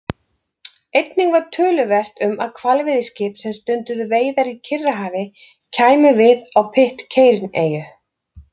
Einnig var töluvert um að hvalveiðiskip sem stunduðu veiðar í Kyrrahafi kæmu við á Pitcairn-eyju.